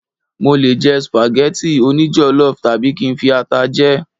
mo le jẹ spaghetti oni jollof tabi kin fi ata jẹ